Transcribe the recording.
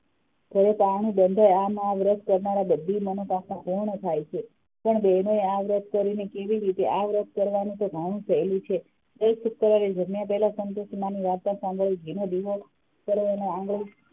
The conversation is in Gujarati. આ વ્રત કરનારા ને બધી મનોકામના પૂર્ણ થાય છે પણ બહેનોએ આ વ્રત કરીને કેવી રીતે આ વ્રત કરવાનું તો ઘણું સહેલું છે જમ્યા પહેલાં સંતોષીમાં ની વાર્તા સાંભળવી ઘી નો દીવો કરવો અને આંગડી,